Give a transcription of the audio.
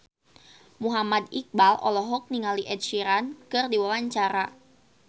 Muhammad Iqbal olohok ningali Ed Sheeran keur diwawancara